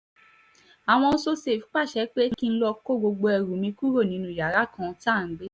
àwọn so-safe pàṣẹ pé kí n lọ́ọ́ kó gbogbo ẹrù mi kúrò nínú yàrá kan tá à ń gbé